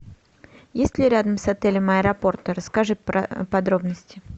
есть ли рядом с отелем аэропорты расскажи подробности